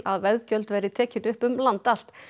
að veggjöld verði tekin upp um land allt